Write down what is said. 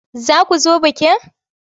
Za ku zo bikin?